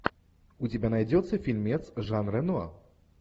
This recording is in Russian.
у тебя найдется фильмец жан рено